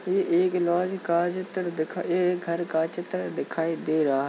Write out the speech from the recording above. ये एक लॉज का चित्र दिखाई ये एक घर का चित्र दिखाई दे रहा --